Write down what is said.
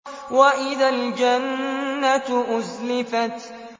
وَإِذَا الْجَنَّةُ أُزْلِفَتْ